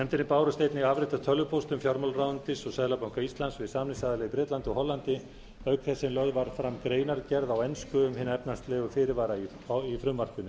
nefndinni bárust einnig afrit af tölvupóstum fjármálaráðuneytis og seðlabanka íslands við samningsaðila í bretlandi og hollandi auk þess sem lögð var fram greinargerð á ensku um hina efnahagslegu fyrirvara í frumvarpinu